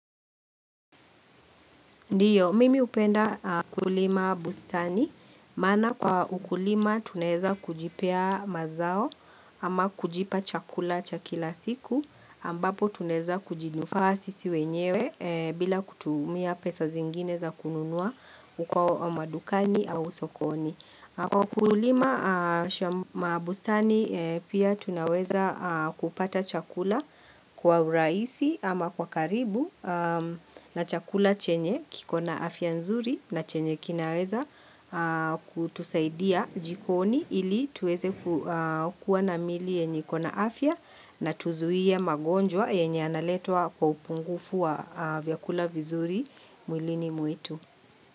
Ndiyo, mimi hupenda kulima bustani, maana kwa ukulima tunaweza kujipea mazao ama kujipa chakula cha kila siku, ambapo tunaweza kujinufaa sisi wenyewe bila kutumia pesa zingine za kununua ukawa madukani au usokoni. Kwa kulima mabustani pia tunaweza kupata chakula kwa urahisi ama kwa karibu na chakula chenye kiko na afya nzuri na chenye kinaweza kutusaidia jikoni ili tuweze kuwa na miili yenye kuwa na afya na tuzuie magonjwa yenye analetwa kwa upungufu wa vyakula vizuri mwilini mwetu.